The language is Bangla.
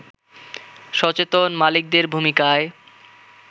সচেতন মালিকদের ভূমিকায়